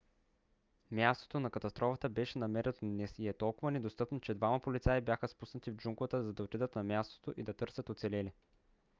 мястото на катастрофата беше намерено днес и е толкова недостъпно че двама полицаи бяха спуснати в джунглата за да отидат на мястото и да търсят оцелели